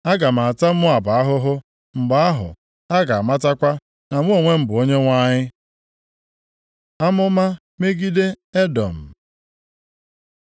Aga m ata Moab ahụhụ. Mgbe ahụ, ha ga-amatakwa na mụ onwe m bụ Onyenwe anyị.’ ” Amụma megide Edọm